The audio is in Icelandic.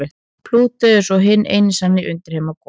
Plútó er svo hinn eini sanni undirheimaguð.